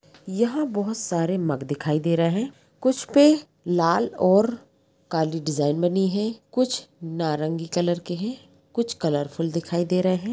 यहां बहुत सारे मग दिखाई दे रहे हैं कुछ पे लाल और काली डिजाइन बनी है कुछ नारंगी कलर के है कुछ कलरफुल दिखाई दे रहे है।